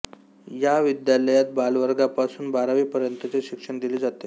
या विद्यालयात बालवर्गापासून बारावी पर्यंतचे शिक्षण दिले जाते